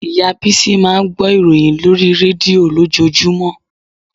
Ìyá Bísí máa ń gbọ́ ìròyìn lórí rédíò lójoojúmọ́